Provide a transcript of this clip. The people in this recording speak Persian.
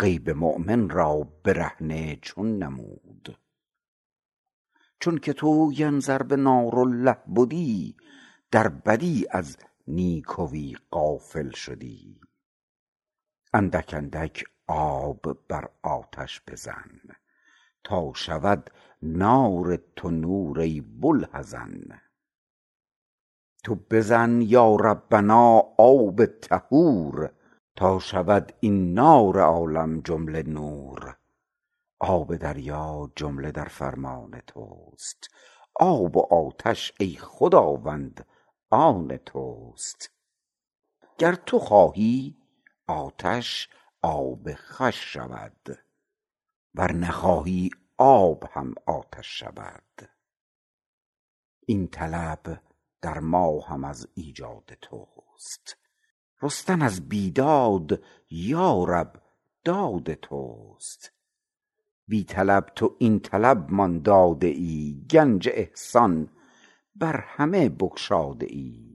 غیب مؤمن را برهنه چون نمود چون که تو ینظر بنار الله بدی در بدی از نیکوی غافل شدی اندک اندک آب بر آتش بزن تا شود نار تو نور ای بوالحزن تو بزن یا ربنا آب طهور تا شود این نار عالم جمله نور آب دریا جمله در فرمان تست آب و آتش ای خداوند آن تست گر تو خواهی آتش آب خوش شود ور نخواهی آب هم آتش شود این طلب در ما هم از ایجاد تست رستن از بیداد یا رب داد تست بی طلب تو این طلب مان داده ای گنج احسان بر همه بگشاده ای